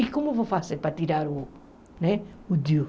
E como vou fazer para tirar o né o Diu?